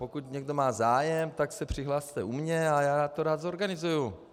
Pokud má někdo zájem, tak se přihlaste u mě a já to rád zorganizuji.